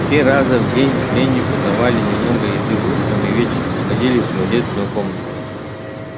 три раза в день пленнику давали немного еды утром и вечером выводили в туалетную комнату